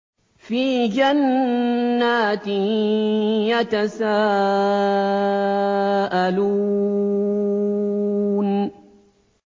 فِي جَنَّاتٍ يَتَسَاءَلُونَ